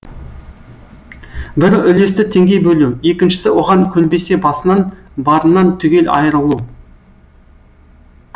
бірі үлесті теңдей бөлу екіншісі оған көнбесе басынан барынан түгел айырылу